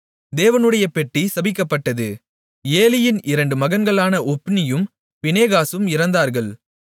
தேவனுடைய பெட்டி பிடிக்கப்பட்டது ஏலியின் இரண்டு மகன்களான ஒப்னியும் பினெகாசும் இறந்தார்கள்